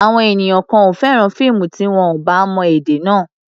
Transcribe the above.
Àwọn ènìyàn kan ò fẹ́ràn fíìmù tí wọn ò bá mọ èdè náà.